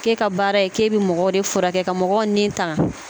K'e ka baara ye k'e bɛ mɔgɔw de furakɛ ka mɔgɔw ni tanga